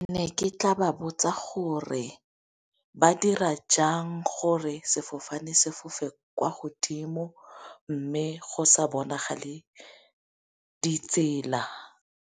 Ne ke tla ba botsa gore ba dira jang gore sefofane sefofe kwa godimo mme go sa bonagale ditsela.